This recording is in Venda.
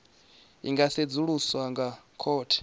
i nga sedzuluswa nga khothe